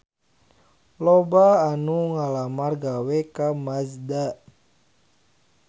Loba anu ngalamar gawe ka Mazda